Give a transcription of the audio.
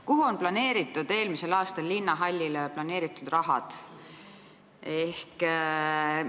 Milleks on kavas kasutada eelmisel aastal linnahallile planeeritud raha?